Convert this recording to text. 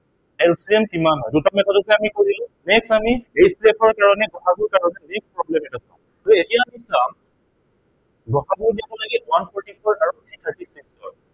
LCM কিমান হয়। দুইটা method তে আমি কৰিলো। next আমি HCF ৰ কাৰনে গ সা গুৰ কাৰনে problem এটা চাম। so এতিয়া আমি চাম গ সা গু উলিয়াব লাগে one forty four আৰু one thirty six